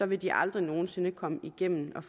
vil de aldrig nogen sinde komme igennem med